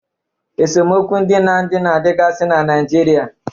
Esemokwu ndị na ndị na-adịgasiri na Naijiria.